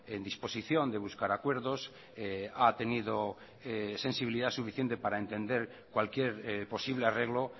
en disposición de buscar acuerdos ha tenido sensibilidad suficiente para entender cualquier posible arreglo